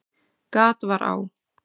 Gat var á